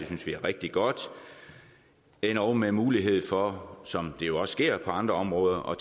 synes vi er rigtig godt endog med mulighed for som det jo også sker på andre områder at